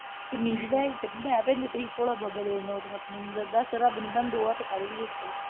ਭੋਲਾ ਬਾਬਾ ਦੇ ਨੋਟ ਛਾਪਣ ਦੀ ਮਸ਼ੀਨ। ਦੱਸ ਰੱਬ ਨੇ ਤੋਨੂੰ ਦੋ ਹੱਥ ਕਾਹਦੇ ਲਈ ਦਿੱਤੇ ਆ।